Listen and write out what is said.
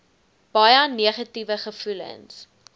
baie negatiewe gevoelens